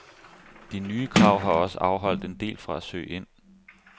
De nye krav har også afholdt en del fra at søge ind.